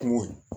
Kungo